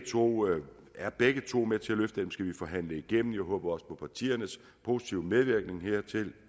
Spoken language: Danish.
turisme er begge to med til at løfte tingene det skal forhandles igennem og jeg håber på partiernes positive medvirken hertil